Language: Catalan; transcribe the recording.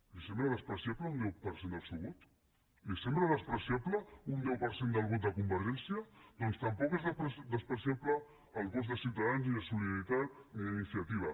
li sembla despreciable un deu per cent del seu vot li sembla despreciable un deu per cent del vot de convergència doncs tampoc són despreciables els vots de ciutadans ni de solidaritat ni d’iniciativa